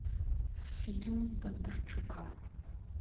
фильм бондарчука